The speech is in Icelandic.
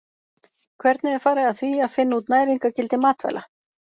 Hvernig er farið að því að finna út næringargildi matvæla?